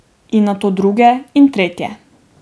In nato druge in tretje.